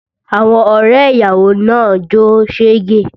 Àwọn ọrẹ ìyàwó náà ń jó sege